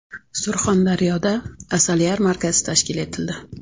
Surxondaryoda asal yarmarkasi tashkil etildi.